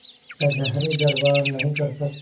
कचहरीदरबार नहीं कर सकती